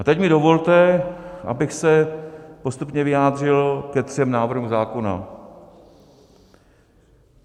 A teď mi dovolte, abych se postupně vyjádřil ke třem návrhům zákonů.